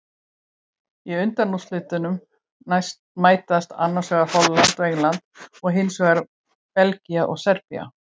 Í undanúrslitum mætast annars vegar Holland og England og hinsvegar Belgía og Serbía.